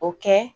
O kɛ